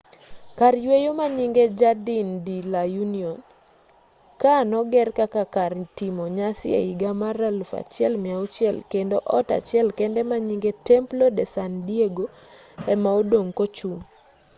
kar yweyo manyinge jardín de la unión. kaa noger kaka kar timo nyasi ehiga mag 1600 kendo ot achiel kende manyinge templo de san diego ema odong' kochung'